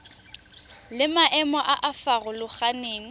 le maemo a a farologaneng